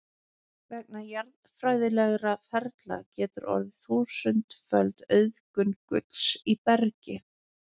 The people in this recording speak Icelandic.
Vegna jarðfræðilegra ferla getur orðið þúsundföld auðgun gulls í bergi.